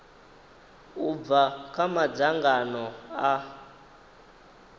u bva kha madzangano a